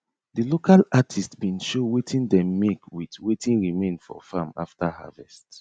the local artist bin show wetin dem make with wetin remain for farm after harvest